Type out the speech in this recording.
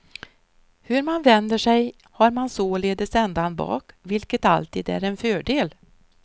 Hur man vänder sig har man således ändan bak, vilket alltid är en fördel.